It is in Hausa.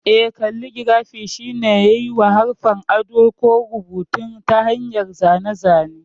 Eh, kalligirafi shine yiwa haruffa ado ko rubutun a ta hanyar zane-zane.